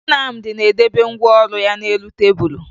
Nnamdị na-edebe ngwa ọrụ ya n'elu tebulu